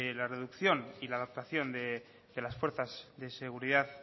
la reducción y la adaptación de las fuerzas de seguridad